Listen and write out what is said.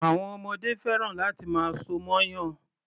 Àwọn ọmọdé fẹ́ràn láti máa so mọ́yàn.